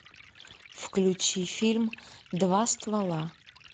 включи фильм два ствола